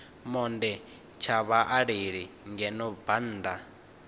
monde tsha vhaaleli ngeno bannda